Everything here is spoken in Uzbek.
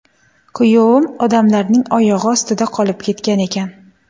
Kuyovim odamlarning oyog‘i ostida qolib ketgan ekan.